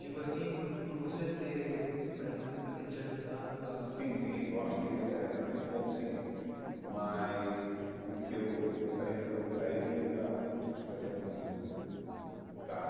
Digo assim, por por você ter, por essa música ter te ajudado a... Sim, sim, eu acho que eh nesse ponto sim, mas o que eu gostaria de fazer para ele ainda, acho que vai ser um blues ainda, tá?